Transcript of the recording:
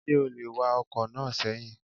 Ṣé o lè wa ọkọ̀ náà sẹ́yìn?